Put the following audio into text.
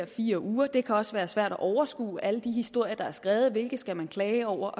fire uger det kan også være svært at overskue alle de historier der er skrevet hvilke skal man klage over